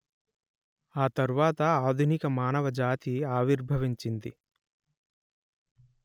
ఆ తర్వాత ఆధునిక మానవ జాతి ఆవిర్భవించింది